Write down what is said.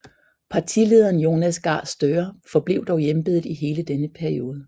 Partilederen Jonas Gahr Støre forblev dog i embedet i hele denne periode